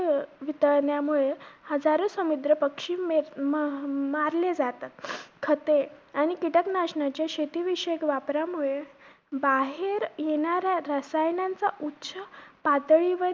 अं वितळण्यामुळे हजारो समिद्र पक्षी मेल~ मा~ मारले जातात. खते आणि कीटक नाशांनाच्या शेतीविषयक वापरामुळे, बाहेर येणाऱ्या रसायनांचा उच्च पातळीवर